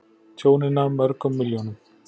Tjónið nam mörgum milljónum.